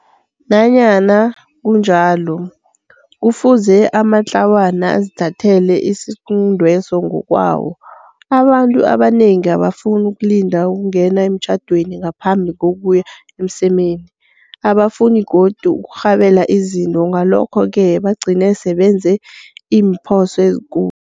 Nanyana kunjalo, kufuze amatlawana azithathele isiquntweso ngokwawo. Abantu abanengi abafuni ukulinda ukungena emtjhadweni ngaphambi kokuya emsemeni. Abafuni godu ukurhabela izinto ngalokho-ke bagcine sebenze iimphoso ezikulu.